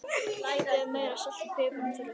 Kryddið með meira salti og pipar ef þurfa þykir.